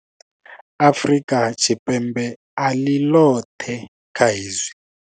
Afrika Tshipembe a ḽi ḽoṱhe kha hezwi.